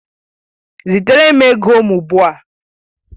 Zitere m ego m ugbu a!